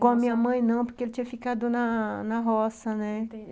Com a minha mãe, não, porque ele tinha ficado na na roça, né? Entendi.